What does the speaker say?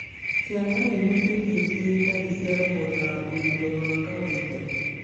Ciana ihutĩtio ciĩ nda iciaragwo na ũritũ wa kawaida